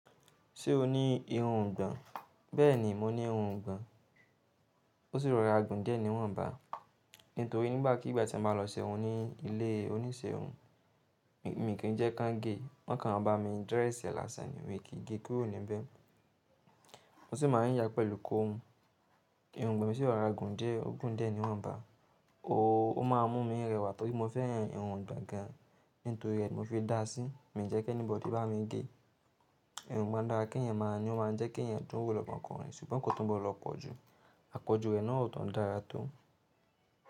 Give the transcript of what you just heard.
Ṣé o ní irun ìgbọ̀n? Bẹ́ẹ̀ni, mo ní irun gan. Ó sì rọra gùn díẹ̀ ni wọ́n ń bá. Nítorí nígbàkigbà tí a máa lọ sẹ́rùn ní ilé onísẹ́rùn, mi kì í jẹ́ káń gé. Wọ́n kàn maa bá mi dírẹ̀sì lásan ni mi kì í gé kuró ní bẹ́. O sì máa ń yà á pẹ̀lú comb. Irun ìgbọ̀n mi sì rọra gùn díẹ̀, o gùn díẹ̀ ni wọ́n ń bá. Oòó, ó máa ń mú mi rẹwà torí mo fẹ́an irun ìgbọ̀n gan. Nítorí ẹ, mo fi dáa sí. Mi ì jẹ́ kẹni bọ̀di bá mi gé. Irun gbọ̀n dára kí eeyan máa ní ó máa ń jẹ́ kí ẹ̀eyan dùn wò lọ́mo okùnrin. Ṣùgbọ́n kò tún gbọ́do po jù. Àpọ̀jù rẹ̀ náà ò tun dára tó.